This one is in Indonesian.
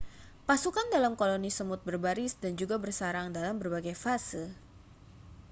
pasukan dalam koloni semut berbaris dan juga bersarang dalam berbagai fase